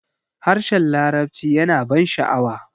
harshen larabci yana ban sha'awa